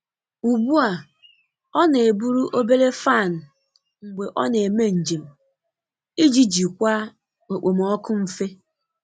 Ugbu a, ọ na-eburu obere fan mgbe ọ na-eme njem iji jikwaa okpomọkụ mfe.